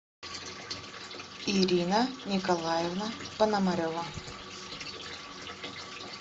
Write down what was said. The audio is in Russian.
ирина николаевна пономарева